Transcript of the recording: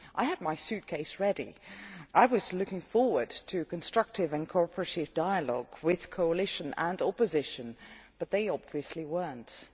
I had my suitcase ready. I was looking forward to constructive and cooperative dialogue with the coalition and opposition, but they obviously were not.